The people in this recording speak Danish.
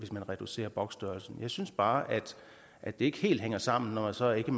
reducerer boksstørrelsen jeg synes bare at det ikke helt hænger sammen når man så ikke